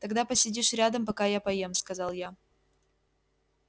тогда посидишь рядом пока я поем сказал я